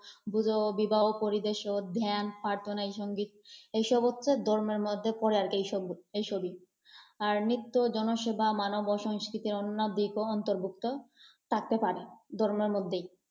পুজো, বিবাহ পরিবেশ ও ধ্যান, প্রার্থনা্‌ সঙ্গীত, এইসব হসসে ধর্মের মধ্যে পরে আর কি এসব এসবই। আর নিত্য জনসেবা, মানব ও সংস্কৃতির অন্য দিকও অন্তর্ভুক্ত থাকতে পারে ধর্মের মধ্যেই।